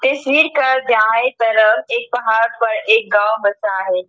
इस हिल पर दाएं तरफ एक पहाड़ पर एक गांव बसा है।